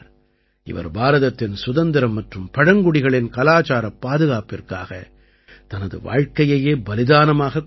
இவர் பாரதத்தின் சுதந்திரம் மற்றும் பழங்குடிகளின் கலாச்சாரப் பாதுகாப்பிற்காக தனது வாழ்க்கையையே பலிதானமாகக் கொடுத்தார்